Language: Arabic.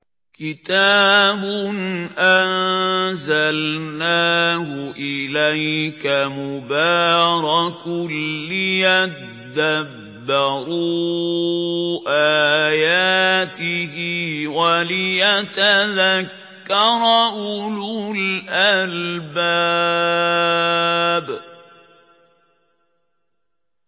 كِتَابٌ أَنزَلْنَاهُ إِلَيْكَ مُبَارَكٌ لِّيَدَّبَّرُوا آيَاتِهِ وَلِيَتَذَكَّرَ أُولُو الْأَلْبَابِ